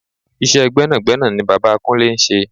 Iṣẹ́ gbẹ́nàgbẹ́nà ni bàbá kúnlé ń ṣe.